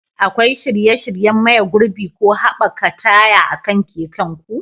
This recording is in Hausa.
Akwai shirye-shiryen maye gurbin ko haɓaka taya akan keken ku?